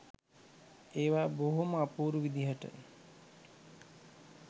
ඒවා බොහොම අපූරු විදිහට